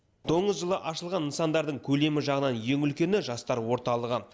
доңыз жылы ашылған нысандардың көлемі жағынан ең үлкені жастар орталығы